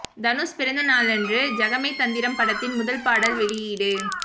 தனுஷ் பிறந்த நாளன்று ஜகமே தந்திரம் படத்தின் முதல் பாடல் வெளியீடு